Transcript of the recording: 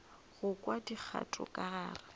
go kwa dikgato ka gare